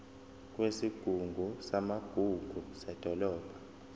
kwesigungu samagugu sedolobha